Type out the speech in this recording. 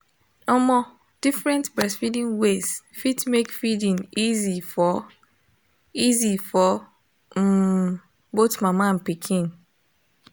omo different breastfeeding ways fit make feeding easy for easy for um both mama and pikin